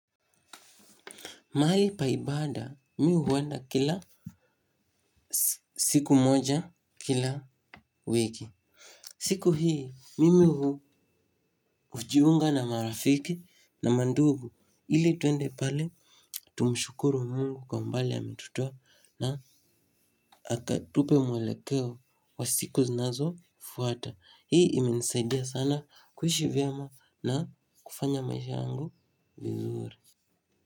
Mahali pa ibada mi huenda kila siku moja kila wiki. Siku hii, mimi hujiunga na marafiki na mandugu ili tuende pale. Tumshukuru Mungu kwa umbali ametutua na akatupe mwelekeo wa siku zinazo fuata. Hii imenisaidia sana kuishi vyema na kufanya maisha yangu vizuri.